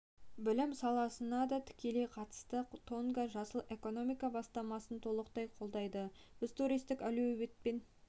пен білім саласына да тікелей қатысты тонга жасыл экономика бастамасын толықтай қолдайды біз туристік әлеуетпен